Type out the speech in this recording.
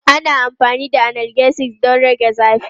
Ana amfani da analgesics don rage zafi.